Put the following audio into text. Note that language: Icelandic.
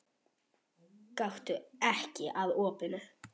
Gakktu ekki að opinu.